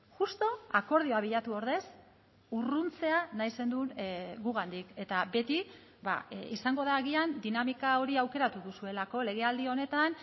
justu akordioa bilatu ordez urruntzea nahi zenuen gugandik eta beti izango da agian dinamika hori aukeratu duzuelako legealdi honetan